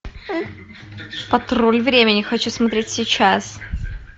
патруль времени хочу смотреть сейчас